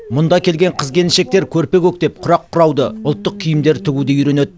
мұнда келген қыз келіншектер көрпе көктеп құрақ құрауды ұлттық киімдер тігуді үйренеді